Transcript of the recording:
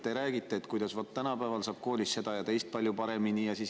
Te räägite, kuidas tänapäeval saab koolis seda ja teist palju paremini.